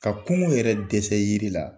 Ka kungo yɛrɛ dɛsɛ yiri la